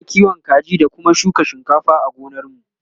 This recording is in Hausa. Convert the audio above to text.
Muna kiwon kaji da Kuma shuka shinkafa a gonar mu